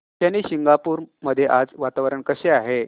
शनी शिंगणापूर मध्ये आज वातावरण कसे आहे